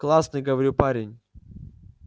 классный говорю парень